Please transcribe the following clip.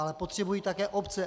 Ale potřebují také obce.